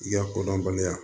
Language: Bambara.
I ka kodɔnbaliya